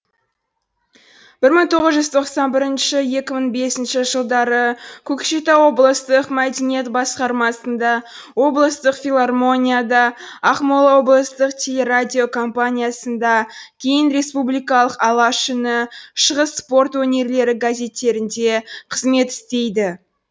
бір мың тоғыз жүз тоқсан бірінші екі мың бесінші жылдары көкшетау облыстық мәдениет басқармасында облыстық филармонияда ақмола облыстық телерадиокомпаниясында кейін республикалық алаш үні шығыс спорт өнерлері газеттерінде қызмет істейді